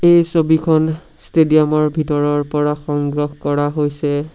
এই ছবিখন ষ্টেডিয়াম ৰ ভিতৰৰ পৰা সংগ্ৰহ কৰা হৈছে।